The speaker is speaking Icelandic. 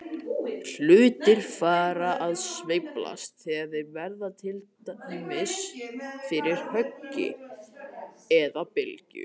Hlutir fara að sveiflast þegar þeir verða fyrir til dæmis höggi eða bylgju.